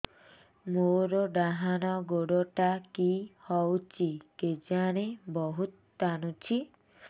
ମୋର୍ ଡାହାଣ୍ ଗୋଡ଼ଟା କି ହଉଚି କେଜାଣେ ବହୁତ୍ ଟାଣୁଛି